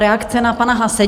Reakce na pana Haase.